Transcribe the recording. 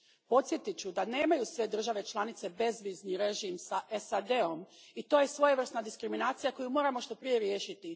Podsjetit ću da nemaju sve države članice bezvizni režim sa SAD om i to je svojevrsna diskriminacija koju moramo što prije riješiti.